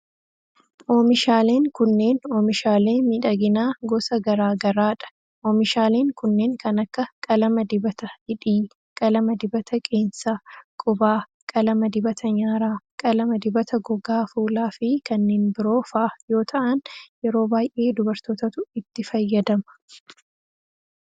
Oomishaaleen kunneen, oomishaalee miidhaginaa gosa garaa garaa dha. Oomishaaleen kunneen kan akka: qalama dibata hidhii, qalama dibata qeensa qubaa, qalama dibata nyaaraa, qalama dibata gogaa fuulaa fi kanneen biroo faa yoo ta'an, yeroo baay'ee dubartootatu itti fayyadama.